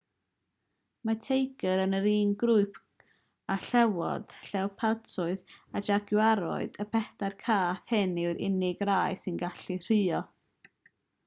mae'r teigr yn yr un grŵp genus panthera â llewod llewpartiaid a jagwariaid. y pedair cath hyn yw'r unig rai sy'n gallu rhuo